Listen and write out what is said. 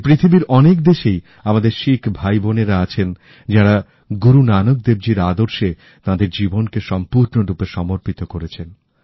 এই পৃথিবীর অনেক দেশেই আমাদের শিখ ভাইবোনেরা আছেন যারা গুরু নানক দেবজীর আদর্শে তাদের জীবনকে সম্পূর্ণরূপে সমর্পিত করেছেন